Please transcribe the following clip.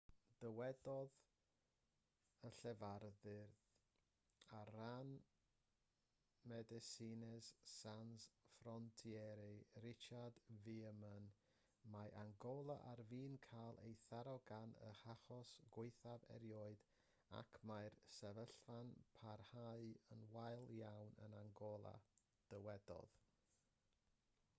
dywedodd y llefarydd ar ran medecines sans frontiere richard veerman mae angola ar fin cael ei tharo gan ei hachos gwaethaf erioed ac mae'r sefyllfa'n parhau yn wael iawn yn angola dywedodd